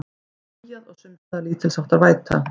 Skýjað og sums staðar lítilsháttar væta